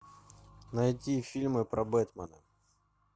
найти фильмы про бэтмена